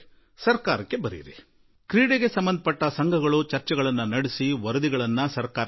ಸರ್ಕಾರಕ್ಕೆ ಬರೆಯಿರಿ ಕ್ರೀಡಾ ಸಂಘಗಳು ಚರ್ಚಿಸಿ ತಮ್ಮ ಮನವಿ ಪತ್ರವನ್ನು ಸಲ್ಲಿಸಲಿ